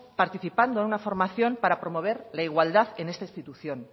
participando en una formación para promover la igualdad en esta institución